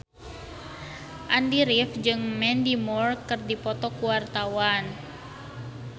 Andy rif jeung Mandy Moore keur dipoto ku wartawan